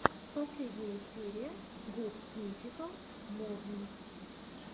последняя серия гуд мификал морнинг